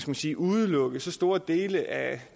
man sige udelukke så store dele af